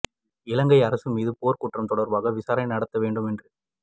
இலங்கை அரசு மீது போர் குற்றம் தொடர்பாக விசாரணை நடத்த வேண்டும் என்று